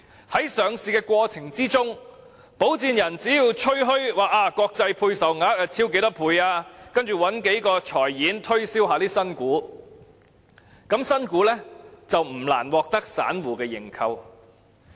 在上市過程中，保薦人只要吹噓國際配售超額多少倍，然後找數個財經演員推銷新股，新股便不難獲得散戶認購。